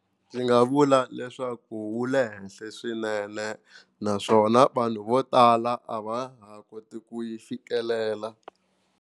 Ndzi nga vula leswaku wu le henhla swinene naswona vanhu vo tala a va ha koti ku yi fikelela.